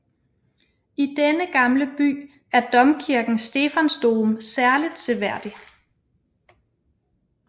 I denne gamle by er domkirken Stephansdom særligt seværdig